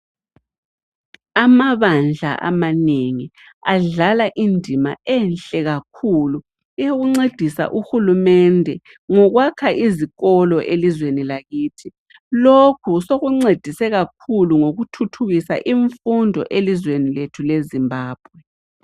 Amabandla amanengi adlala indima enhle kakhulu eyokuncedisa uhulumende ngokwakha izikolo elizweni lakithi. Lokhu sokuncedise kakhulu ngokuthuthukisa imfundo elizweni lethu leZimbabwe.